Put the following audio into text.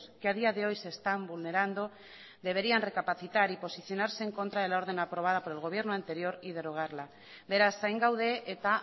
que a día de hoy se están vulnerando debería recapacitar y posicionarse en contra de la orden aprobada por el gobierno anterior y derogarla beraz zain gaude eta